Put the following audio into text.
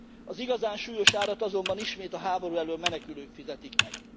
Az igazán súlyos árat azonban ismét a háború elöl menekülők fizetik meg.